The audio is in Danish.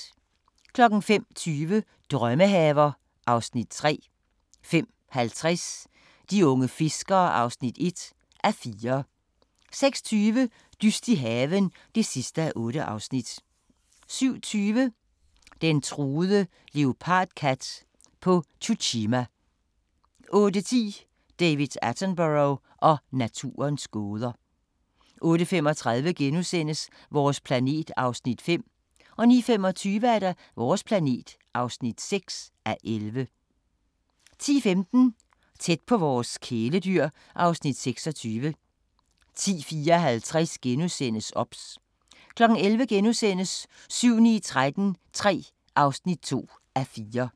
05:20: Drømmehaver (Afs. 3) 05:50: De unge fiskere (1:4) 06:20: Dyst i haven (8:8) 07:20: Den truede leopardkat på Tsushima 08:10: David Attenborough og naturens gåder 08:35: Vores planet (5:11)* 09:25: Vores planet (6:11) 10:15: Tæt på vores kæledyr (Afs. 26) 10:54: OBS * 11:00: 7-9-13 III (2:4)*